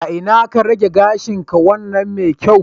A ina ka rage gashinka wannan mai kyau?